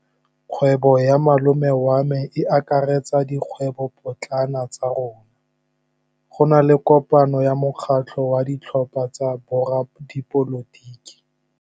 Kgwêbô ya malome wa me e akaretsa dikgwêbôpotlana tsa rona. Go na le kopanô ya mokgatlhô wa ditlhopha tsa boradipolotiki.